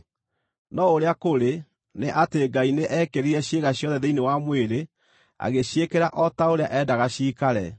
No ũrĩa kũrĩ, nĩ atĩ Ngai nĩ eekĩrire ciĩga ciothe thĩinĩ wa mwĩrĩ, agĩciĩkĩra o ta ũrĩa eendaga ciikare.